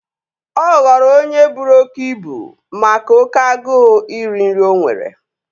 Ọ ghọrọ onye buru oké ibu make oké agụụ iri nri o nwere